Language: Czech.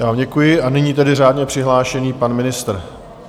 Já vám děkuji a nyní tedy řádně přihlášený pan ministr.